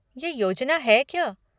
ये योजना है क्या?